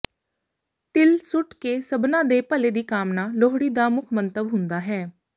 ਤਿਲ ਸੁੱਟ ਕੇ ਸਭਨਾਂ ਦੇ ਭਲੇ ਦੀ ਕਾਮਨਾ ਲੋਹੜੀ ਦਾ ਮੁੱਖ ਮੰਤਵ ਹੁੰਦਾ ਹੈ